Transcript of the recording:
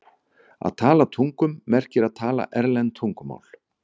Að tala tungum merkir að tala erlend tungumál.